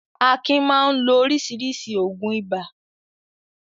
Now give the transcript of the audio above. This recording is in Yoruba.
Akin máa ń lo oríṣiríṣi òògùn ibà.